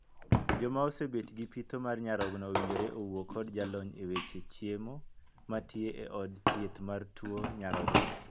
Joma osebet gi pitho mar nyarogno owinjore owuo kod jalony e weche chiemo matie e od thieth mar tuo nyarogno.